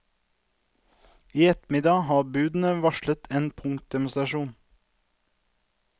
I ettermiddag har budene varslet en punktdemonstrasjon.